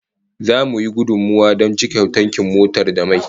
Zamu yi gudummawa don cika tankin motar da mai